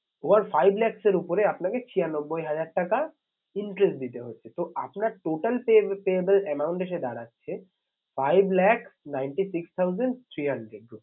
Over five lakhs এর উপরে আপনাকে ছিয়ানব্বই হাজার টাকা interest দিতে হচ্ছে তো আপনার total pay payable amount এসে দাঁড়াচ্ছে five lakh ninety six thousand three hundred